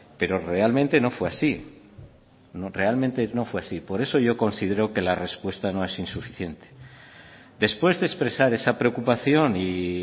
pero realmente no fue así realmente no fue así por eso yo considero que la respuesta no es insuficiente después de expresar esa preocupación y